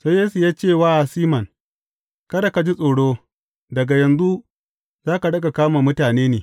Sai Yesu ya ce wa Siman, Kada ka ji tsoro, daga yanzu za ka riƙa kama mutane ne.